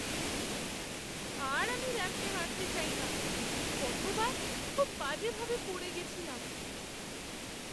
আর আমি র‍্যাম্পে হাঁটতে চাই না। গতবার খুব বাজে ভাবে পড়ে গেছিলাম।